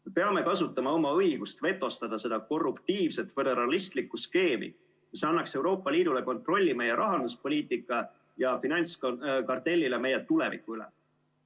Me peame kasutama oma õigust vetostada seda korruptiivset föderalistlikku skeemi, mis annaks Euroopa Liidule kontrolli meie rahanduspoliitika ja finantskartellile meie tuleviku üle.